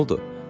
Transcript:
Nə oldu?